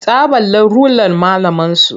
Ta ɓalla rular malamarsu.